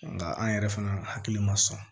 Nka an yɛrɛ fana hakili ma sɔn